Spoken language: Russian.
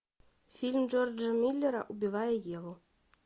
фильм джорджа миллера убивая еву